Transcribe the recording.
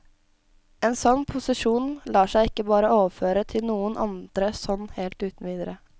En sånn posisjon lar seg ikke bare overføre til noen andre sånn helt uten videre.